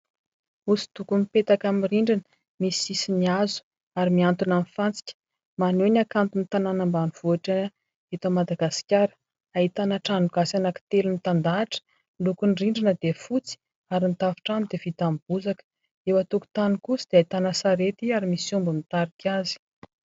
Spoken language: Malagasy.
Hoso-doko mipetaka amin'ny rindrina, misy sisiny hazo ary miantona amin'ny fantsika, maneho ny hakanton'ny tanàna ambanivohitra eto Madagasikara. Ahitana trano gasy anankitelo mitandahatra. Lokon'ny rindrina dia fotsy ary ny tafontrano dia vita amin'ny bozaka. Eo an-tokotany kosa dia ahitana sarety ary misy omby mitarika azy.